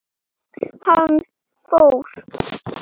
Gerða, Smári, Heiðar og Íris.